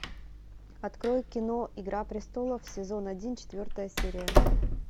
открой кино игра престолов сезон один четвертая серия